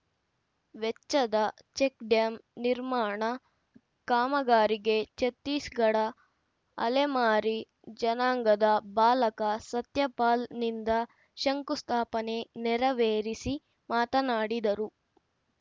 ವೆಚ್ಚದ ಚೆಕ್‌ಡ್ಯಾಂ ನಿರ್ಮಾಣ ಕಾಮಗಾರಿಗೆ ಛತ್ತೀಸ್‌ಗಡ ಅಲೆಮಾರಿ ಜನಾಂಗದ ಬಾಲಕ ಸತ್ಯಪಾಲ್‌ನಿಂದ ಶಂಕುಸ್ಥಾಪನೆ ನೆರವೇರಿಸಿ ಮಾತನಾಡಿದರು